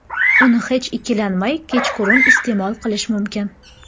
Uni hech ikkilanmay kechqurun iste’mol qilish mumkin.